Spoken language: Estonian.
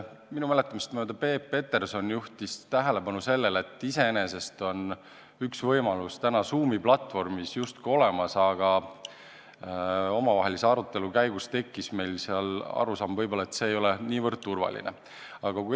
Minu mäletamist mööda Peep Peterson juhtis tähelepanu sellele, et iseenesest on üks võimalus Zoomi platvormis juba justkui olemas, aga omavahelise arutelu käigus tekkis meil arusaam, et võib-olla see ei ole täiesti turvaline.